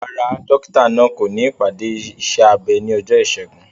Rárá, dókítà náà kò ní ìpàdé iṣẹ́ abẹ ní ọjọ́ Ìṣẹ́gun.